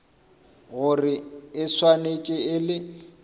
gore e swanetše e le